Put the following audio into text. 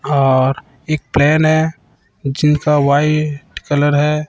और इक फैन है जिनका व्हाइट कलर है।